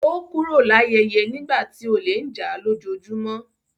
Ó kúrò l’áyẹ́yẹ́ nígbà tí olè ń jà á lójoojúmó.